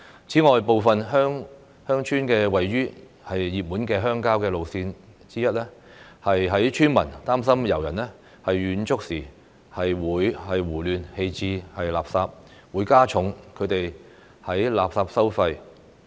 此外，部分鄉村位於熱門的郊遊路線，有村民擔心遊人遠足時胡亂棄置垃圾，會加重他們的垃圾收費。